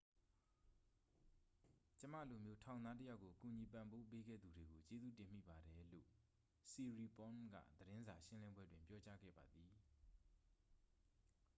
"""ကျွန်မလိုမျိုးထောင်သားတစ်ယောက်ကို ကူညီပံ့ပိုးပေးခဲ့သူတွေကို ကျေးဇူးတင်မိပါတယ်၊" လို့ siriporn က သတင်းစာရှင်းလင်းပွဲတွင် ပြောကြားခဲ့ပါသည်။